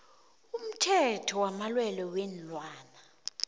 umthetho wamalwelwe weenlwana